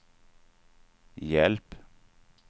hjälp